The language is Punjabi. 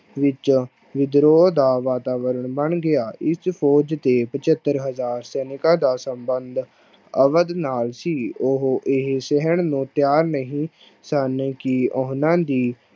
ਵਿੱਚ ਵਿਦਰੋਹ ਦਾ ਵਾਤਾਵਰਨ ਬਣ ਗਿਆ ਇਸ ਫ਼ੋਜ ਦੇ ਪਜੱਤਰ ਹਜ਼ਾਰ ਸੈਨਿਕਾਂ ਦਾ ਸੰਬੰਧ ਅਵਧ ਨਾਲ ਸੀ, ਉਹ ਇਹ ਸਹਿਣ ਨੂੰ ਤਿਆਰ ਨਹੀਂ ਸਨ ਕਿ ਉਹਨਾਂ ਦੀ